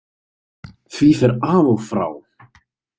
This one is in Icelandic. Því fer af og frá.